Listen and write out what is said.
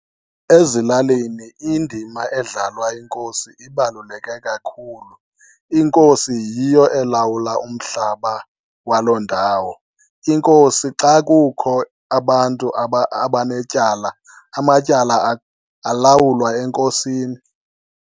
Ezilalini indima edlalwa yiNkosi ibaluleke kakhulu. INkosi yiyo elawula umhlaba waloo ndawo. INkosi xa kukho abantu abanetyala, amatyala alawulwa eNkosini.